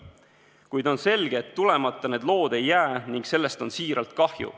Kuid on selge, et tulemata need lood ei jää, ning sellest on siiralt kahju.